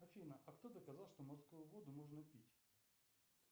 афина а кто доказал что морскую воду можно пить